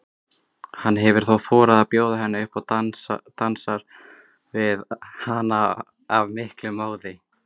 Hann hefur þá þorað að bjóða henni upp og dansar við hana af miklum móði.